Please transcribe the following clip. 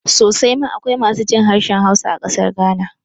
Sosai ma akwai masu jin harshen Hausa a ƙasar Ghana